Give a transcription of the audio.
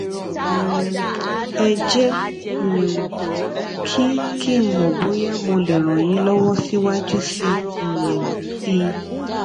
um ẹ jé um kí kí n mọ bóyá mo lè ràn yín lọwọ síwájú sí um i